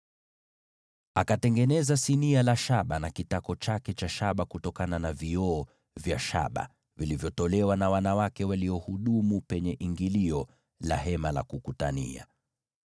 Akatengeneza sinia la shaba lenye kitako cha shaba kutoka kwa vioo vya shaba vilivyotolewa na wanawake waliohudumu pale ingilio la Hema la Kukutania.